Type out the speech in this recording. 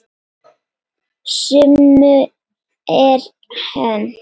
Sumu er hent.